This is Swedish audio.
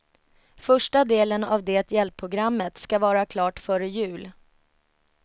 Första delen av det hjälpprogrammet skall vara klart före jul.